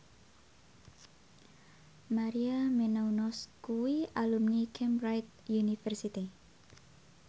Maria Menounos kuwi alumni Cambridge University